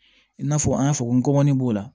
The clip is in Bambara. I n'a fɔ an y'a fɔ n gɔmɔni b'o la